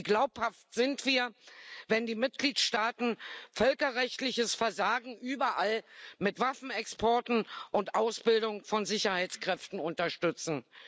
Wie glaubhaft sind wir, wenn die Mitgliedstaaten völkerrechtliches Versagen überall mit Waffenexporten und der Ausbildung von Sicherheitskräften unterstützen?